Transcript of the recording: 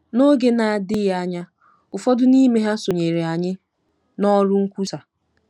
N’oge na-adịghị anya, ụfọdụ n’ime ha sonyeere anyị n’ọrụ nkwusa.